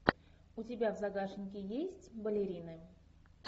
у тебя в загашнике есть балерины